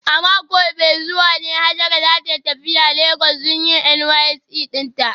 A mako mai zuwa ne Hajara za ta tafi Legas don yin NYSC dinta